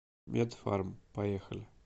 медфарм поехали